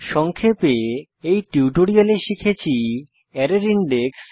সংক্ষেপে এই টিউটোরিয়ালে শিখেছি অ্যারের ইনডেক্স